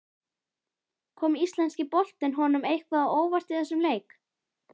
Kom Íslenski boltinn honum eitthvað á óvart í þessum leik?